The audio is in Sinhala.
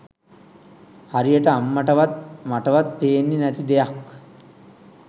හරියට අම්මටවත් මටවත් පෙන්නෙ නැති දෙයක්